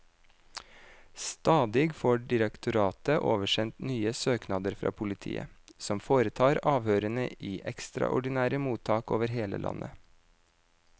Stadig får direktoratet oversendt nye søknader fra politiet, som foretar avhørene i ekstraordinære mottak over hele landet.